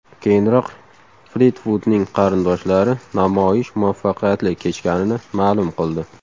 Keyinroq Flitvudning qarindoshlari namoyish muvaffaqiyatli kechganini ma’lum qildi.